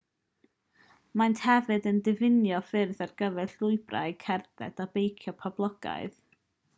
maent hefyd yn diffinio ffyrdd ar gyfer llwybrau cerdded a beicio poblogaidd